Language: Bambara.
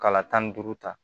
Kala tan ni duuru ta